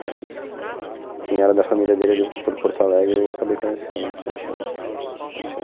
Mas quem era da família dele ali por Porto Alegre eu acabei conhecendo bastante gente, assim. Bastante